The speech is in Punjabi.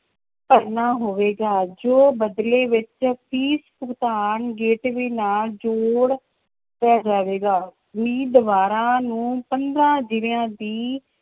ਭਰਨਾ ਹੋਵੇਗਾ ਜੋ ਬਦਲੇ ਵਿੱਚ ਫ਼ੀਸ ਭੁਗਤਾਨ ਜੋੜ ਜਾਵੇਗਾ, ਉਮੀਦਵਾਰਾਂ ਨੂੰ ਪੰਦਰਾਂ ਜ਼ਿਲ੍ਹਿਆਂ ਦੀ